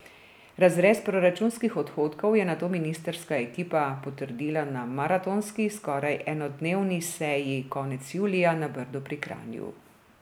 Razrez proračunskih odhodkov je nato ministrska ekipa potrdila na maratonski, skoraj enodnevni, seji konec julija na Brdu pri Kranju.